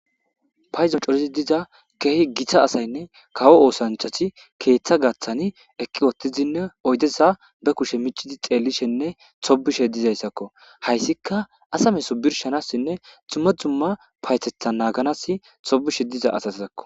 paydon coridi diza keehi githa asaynne kawo oosanchasi keeththa gaththani eqqi wottizinne oydeza be kushe micidi xeellishenne sobishe dizayssakko hayssika asame sobirshanassinne xumma zumma paytethan naaganas sobishe diza asasakko